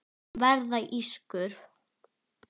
Verða ískur.